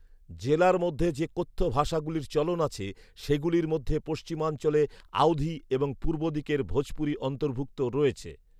জেলার মধ্যে যে কথ্য ভাষাগুলির চলন আছে, সেগুলির মধ্যে পশ্চিমাঞ্চলে আওধি এবং পূর্বদিকের ভোজপুরি অন্তর্ভুক্ত রয়েছে